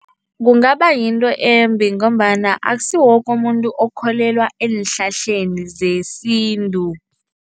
Kungaba yinto embi ngombana akusiwo woke umuntu okholelwa eenhlahleni zesintu.